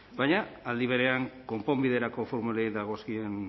baina aldi berean konponbiderako formulei dagozkien